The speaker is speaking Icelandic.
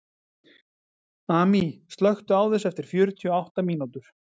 Amý, slökktu á þessu eftir fjörutíu og átta mínútur.